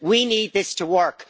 we need this to work